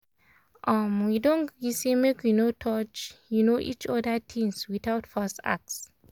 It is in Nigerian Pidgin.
um we don gree say make we no touch um each other things without first ask.